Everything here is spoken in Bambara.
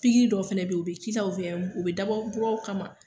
Pikiri dɔ fana bɛ ye u bɛ k'i la u bɛ dabɔ muraw kama.